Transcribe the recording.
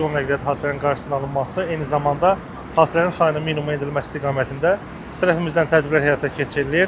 nəqliyyat hadisələrinin qarşısının alınması, eyni zamanda hadisələrin sayının minimuma endirilməsi istiqamətində tərəfimizdən tədbirlər həyata keçirilir.